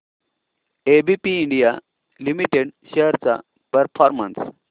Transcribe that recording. ABB India limited shares चा performance